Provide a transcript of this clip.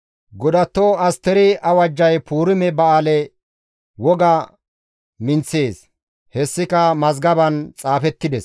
Godatto Asteri awajjay Puurime ba7aale woga minththees; hessika mazgaban xaafettides.